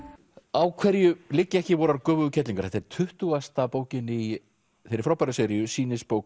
á hverju liggja ekki vorar göfugu kerlingar þetta er tuttugasta bókin í þeirri frábæru seríu sýnisbók